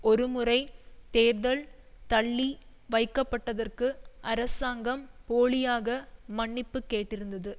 ஒருமுறை தேர்தல் தள்ளி வைக்கப்பட்டதற்கு அரசாங்கம் போலியாக மன்னிப்பு கேட்டிருந்தது